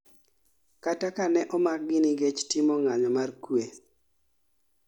kata kane omakgi nikech timo ng'anyo mar kue